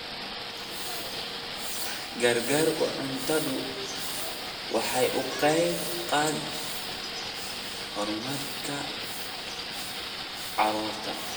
Gargaarka cuntadu waxa uu ka qayb qaataa horumarka carruurta.